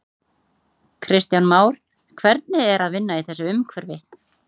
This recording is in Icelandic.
Kristján Már: Hvernig er að vinna í þessu umhverfi?